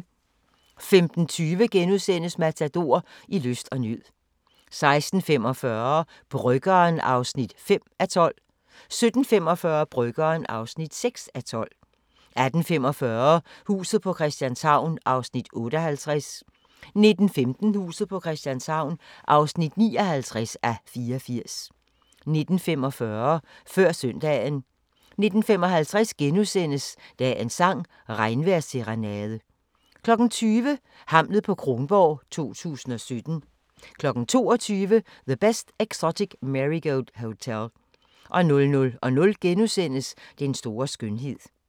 15:20: Matador - I lyst og nød * 16:45: Bryggeren (5:12) 17:45: Bryggeren (6:12) 18:45: Huset på Christianshavn (58:84) 19:15: Huset på Christianshavn (59:84) 19:45: Før søndagen 19:55: Dagens sang: Regnvejrsserenade * 20:00: Hamlet på Kronborg 2017 22:00: The Best Exotic Marigold Hotel 00:00: Den store skønhed *